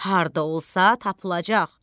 Harda olsa tapılacaq.